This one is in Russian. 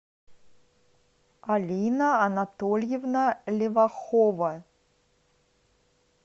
алина анатольевна левахова